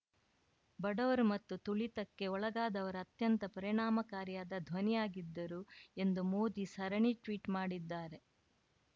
ಬಡವರು ಮತ್ತು ತುಳಿತಕ್ಕೆ ಒಳಗಾದವರ ಅತ್ಯಂತ ಪರಿಣಾಮಕಾರಿಯಾದ ಧ್ವನಿಯಾಗಿದ್ದರು ಎಂದು ಮೋದಿ ಸರಣಿ ಟ್ವೀಟ್‌ ಮಾಡಿದ್ದಾರೆ